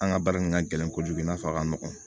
An ka baara in ka gɛlɛn kojugu i n'a fɔ a ka nɔgɔn